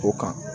O kan